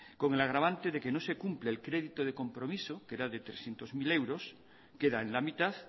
con el agravante de que no se cumple el crédito de compromiso que era de trescientos mil euros queda en la mitad